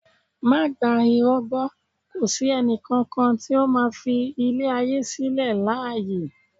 Má gba irọ́ gbó kò sí ẹnì kankan tí ó máa fi ilé ayé sílẹ̀ láàyè